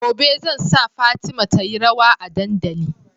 Gobe zan sa fatima tayi rawa a dandali